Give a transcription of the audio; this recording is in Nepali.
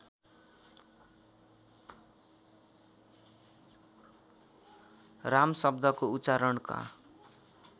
राम शब्दको उच्चारणका